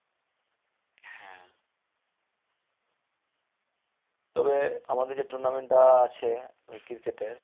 তবে আমাদের যে tournament টা আছে এই cricket এর